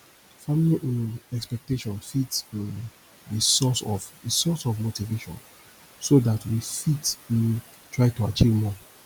family um expectation fit um be source of be source of motivation so dat we fit um try to achieve more